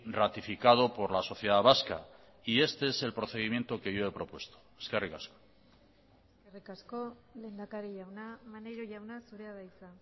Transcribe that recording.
ratificado por la sociedad vasca y este es el procedimiento que yo he propuesto eskerrik asko eskerrik asko lehendakari jauna maneiro jauna zurea da hitza